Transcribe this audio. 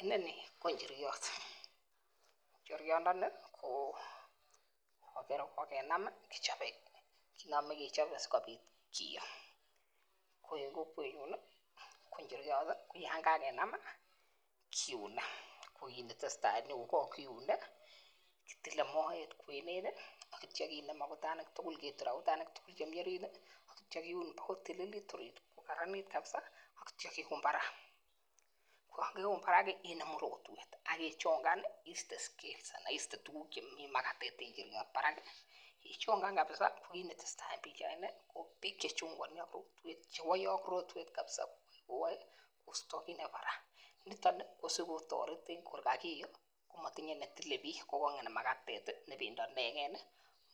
inoni ko injiryot, ingiryat ndeni ko ko kokenam ih kichobe , koname kechobe sikobit kio, ko en kokwet nyun ih Yoon kakenum ih kiune ko kit netesetai en yu kitile moet kwenet aitya kinem abutanik tugul chemi orit ih, akitya kiuun kotililit orit kokaranit kabisa akitya kiun barak. Ko Yoon keuun barak ih inemu rotuet akichongan iiste scale anan iiste tukuk chemi magatet en injiriot ichongan kabisa ko bik chechongani ak rotuet chewae ak rotuet kabisa kowae koista kit nebara niton ih kotareten kor kakiyoo ih ko kang'et magatet ne bendo inegen ih ,